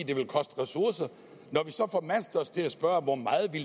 det vil koste ressourcer når vi så formaster os til at spørge hvor meget det